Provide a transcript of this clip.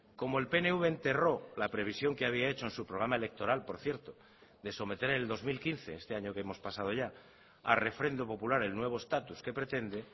como el pnv enterró la previsión que había hecho en su programa electoral por cierto de someter en el dos mil quince este año que hemos pasado ya a refrendo popular el nuevo estatus que pretende